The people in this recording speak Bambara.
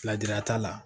Lajara t'a la